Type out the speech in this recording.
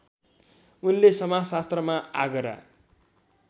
उनले समाजशास्त्रमा आगरा